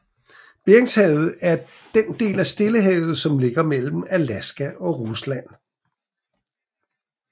Beringshavet er den del af Stillehavet som ligger mellem Alaska og Rusland